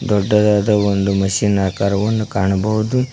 ದೊಡ್ಡದಾದ ಒಂದು ಮಿಷನ್ ಆಕಾರವನ್ನು ಕಾಣಬಹುದು.